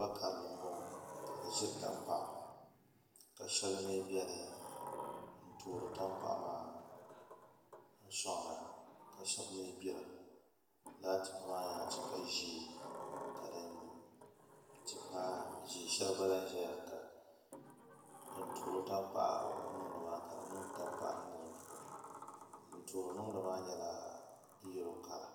Loori karili n boŋo ka di ʒiri tankpaɣu ka shɛli mii biɛni n toori tankpaɣu maa n soŋda ka shab mii gbira laa tipa maa nyɛla tipa ʒiɛ ka tipa ʒiɛ shɛli gba lahi ʒɛya din toori tankpaɣu niŋdi maa ka di niŋdi tankpaɣu niŋdi di puuni din toori niŋdi maa nyɛla yɛlo kala